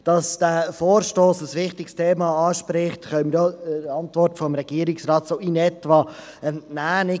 Dass dieser Vorstoss ein wichtiges Thema anspricht, können wir der Antwort des Regierungsrates einigermassen entnehmen.